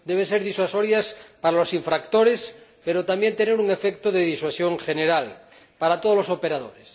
deben ser disuasorias para los infractores, pero también tener un efecto de disuasión general para todos los operadores.